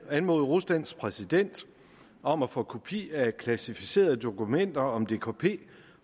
at anmode ruslands præsident om at få kopi af kvalificerede dokumenter om dkp